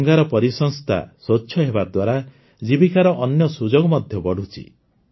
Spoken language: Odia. ଗଙ୍ଗାର ପରିସଂସ୍ଥା ସ୍ୱଚ୍ଛ ହେବା ଦ୍ୱାରା ଜୀବିକାର ଅନ୍ୟ ସୁଯୋଗ ମଧ୍ୟ ବଢ଼ୁଛି